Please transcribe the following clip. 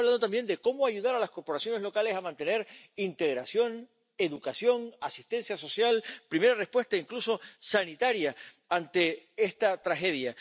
Estamos hablando también de cómo ayudar a las corporaciones locales a mantener integración, educación, asistencia social, primera respuesta, incluso sanitaria, ante esta tragedia.